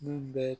Min bɛ